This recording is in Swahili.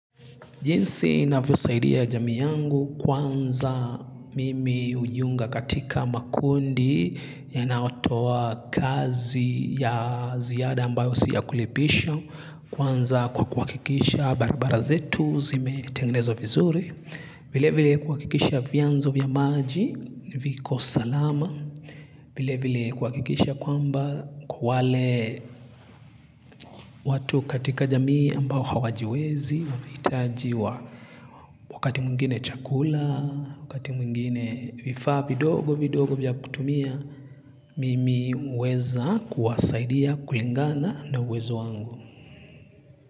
Jinsi navyo saidia jamii yangu kwanza mimi hujiunga katika makundi yanayotowa kazi ya ziada ambayo siya kulipisho kwanza kwa kuhakikisha barabara zetu zimetengenezwa vizuri. Vile vile kuhakikisha vianzo vya maji, viko salama. Vile vile kuhakikisha kwamba wale watu katika jamii ambao hawajiwezi wamehitajiwa wakati mwingine chakula, wakati mwingine vifaa vidogo vidogo vya kutumia, mimi huweza kuwasaidia kulingana na uwezo wangu.